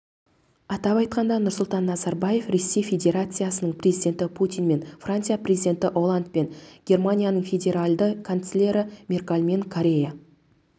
атап айтқанда нұрсұлтан назарбаев ресей федерациясының президенті путинмен франция президенті олландпен германияның федеральды канцлері меркальмен корея